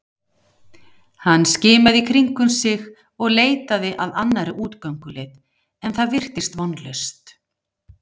Hann skimaði í kringum sig og leitaði að annarri útgönguleið en það virtist vonlaust.